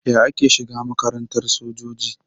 Yaya ake shiga makarantar sojoji?